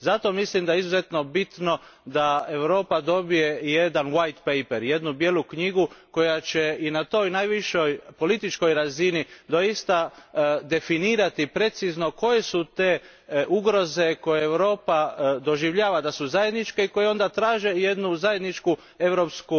Zato mislim da je izuzetno bitno da Europa dobije jedan white paper, jednu bijelu knjigu koja će I na toj najvišoj političkoj razini doista definirati precizno koje su te ugroze koje Europa doživljava da su zajedničke i koje onda traže jednu zajedničku europsku